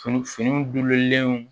Fini finiw lenw